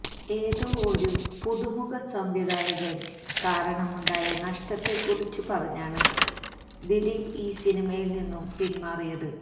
ഏതോ ഒരു പുതുമുഖ സംവിധായകന് കാരണമുണ്ടായ നഷ്ടത്തെക്കുറിച്ച് പറഞ്ഞാണ് ദിലീപ് ഈ സിനിമയില് നിന്നും പിന്മാറിയത്